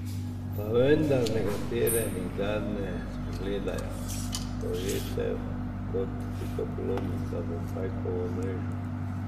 Pa vendar nekatere nikdar ne spregledajo, so ujete kot pikapolonica v pajkovo mrežo.